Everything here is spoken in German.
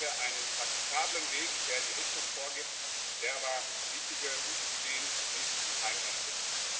Dann haben wir einen praktikablen Weg, der die Richtung vorgibt, der aber wichtige, gute Ideen nicht im Keim erstickt.